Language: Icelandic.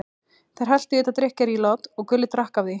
Þeir helltu í þetta drykkjarílát og Gulli drakk af því.